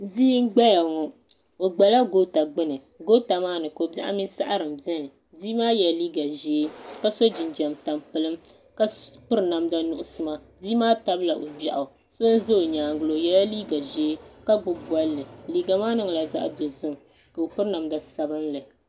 Bia n gbaya ŋɔ o gbala goota gbini goota maani kobiɛɣu mini saɣari m biɛni bia maa yela liiga ʒee ka so jinjiɛm tampilim ka piri namda nuɣuso bia maa tabila o gbeɣu do za o nyaanga la o yela liiga ʒee ka gbibi bolli liiga maa niŋla zaɣa dozim ka o piri namda sabinli.